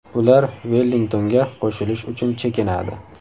Ular Vellingtonga qo‘shilish uchun chekinadi.